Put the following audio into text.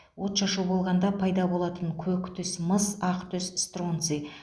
отшашу болғанда пайда болатын көк түс мыс ақ түс стронций